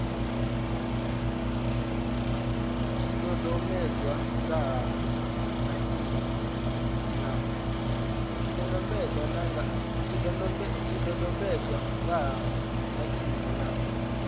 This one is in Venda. zwidodombedzwa nga ha maimo na